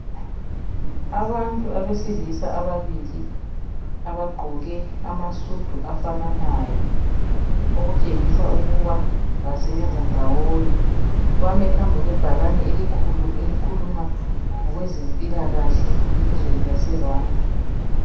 Abantu abesilisa ababili abagqoke amasudu afananayo okutshengisa ukuba basebenza ndawonye. Bame phambi kwebhakane elikhuluma ngokwezempilakahle elizweni laseRwanda